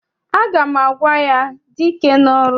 Aga m agwa ya, dị ike n'ọrụ!